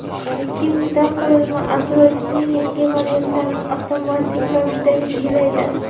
Ikkinchidan, qurilma Android’ning yangi variantlarini avtomatik ravishda yangilaydi.